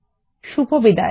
শুভবিদায়